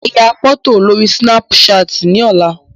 Màá ya fọ́tò lórí Sínápú ṣaàtì ní ọ̀la.